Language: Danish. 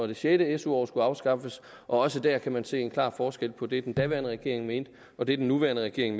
det sjette su år skulle afskaffes og også dér kan man se en klar forskel på det den daværende regering mente og det den nuværende regering